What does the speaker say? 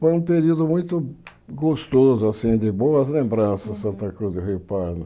Foi um período muito gostoso, assim, de boas lembranças, Santa Cruz do Rio Pardo.